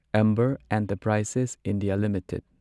Amber Enterprises India limited